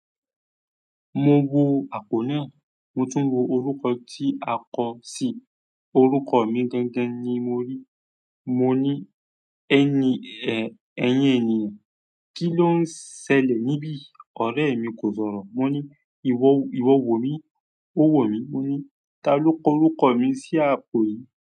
Mo wo àpò náà, mo tún wo orúkọ tí a kọ sí orúkọ mi gangan ni mo rí. Mo ní, "Ẹni ẹ, ẹ̀yín ènìyàn, kí ló ń ṣẹlẹ̀ níbí?" Ọ̀rẹ́ mi kò sọ̀rọ̀. Mo ní, "Ìwọ wò ó mi?" Ó wò mí. Mo ní, "Ta ló kọ orúkọ mi sí àpò yìí?"